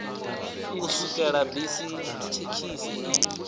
u swikela bisi thekhisi i